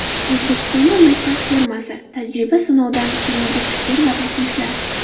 O‘zbekistonda maktab formasi: tajriba-sinovdan keyingi fikr va takliflar .